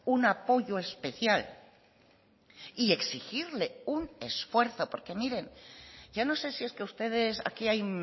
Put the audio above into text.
un apoyo especial y exigirle un esfuerzo porque miren yo no sé si es que ustedes aquí hay